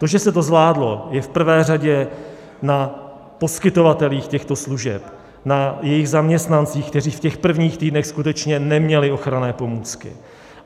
To, že se to zvládlo, je v prvé řadě na poskytovatelích těchto služeb, na jejich zaměstnancích, kteří v těch prvních týdnech skutečně neměli ochranné pomůcky.